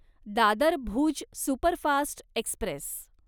Dadar Bhuj superfast Express